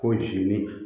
Ko jigini